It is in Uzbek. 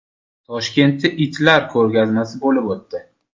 Toshkentda itlar ko‘rgazmasi bo‘lib o‘tdi .